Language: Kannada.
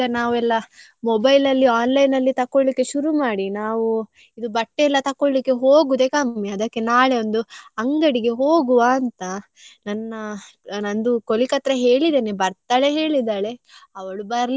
Mobile ಅಲ್ಲಿ online ಅಲ್ಲಿ ತಕ್ಕೋಳ್ಳಿಕ್ಕೆ ಶುರು ಮಾಡಿ. ನಾವು ಇದು ಬಟ್ಟೆಯೆಲ್ಲ ತಕ್ಕೋಳ್ಳಿಕ್ಕೆ ಹೋಗುದೇ ಕಮ್ಮಿ. ಅದಕ್ಕೆ ನಾಳೆ ಒಂದು ಅಂಗಡಿಗೆ ಹೋಗುವ ಅಂತ ನನ್ನ ನಂದು colleague ಹತ್ರ ಹೇಳಿದ್ದೇನೆ ಬರ್ತಾಳೆ ಹೇಳಿದ್ದಾಳೆ ಅವಳು ಬರ್ಲಿಲ್ಲ ಅಂದ್ರೆ.